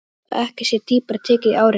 Svo ekki sé dýpra tekið í árinni.